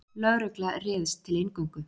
Lögregla réðst til inngöngu